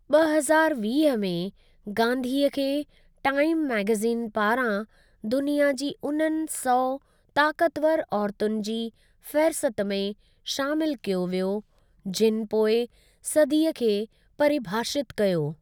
ॿ हज़ारु वीह में गांधीअ खे टाइम मैगेज़िन पारां दुनिया जी उननि सौ ताकतवर औरतुनि जी फ़ेहरिस्त में शामिल कयो वियो, जिनि पोईं सदीअ खे परिभाषित कयो।